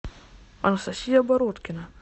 анастасия бородкина